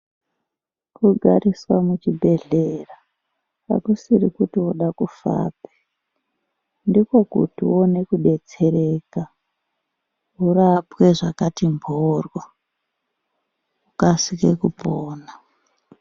Kugariswa muchibhedhlera hakusiri kuti voda kufapi. Ndikokuti uone kubetsereka urapwe zvakati mhoryo, ukasike kupona.